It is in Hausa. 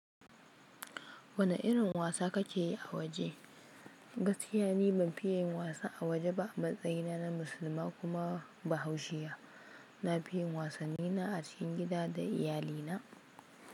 Wane irin wasa ka ke yi a waje? Gaskiya ni ban fiye yin wasa a waje ba. Matsayina na Musulma kuma bahaushiya. Na fi yin wasannina a cikin gida da iyalina.